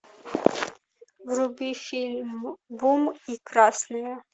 вруби фильм бум и красные